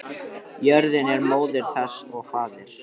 Jörðin er móðir þess og faðir.